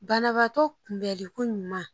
Banabaatɔ kunbɛnliko ɲuman